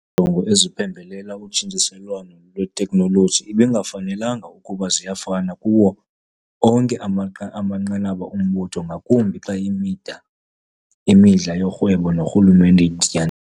Iinjongo eziphembelela utshintshiselwano lwetekhnoloji ibingafanelanga ukuba ziyafana kuwo onke amanqanaba ombutho, ngakumbi xa imidla yorhwebo norhulumente iditya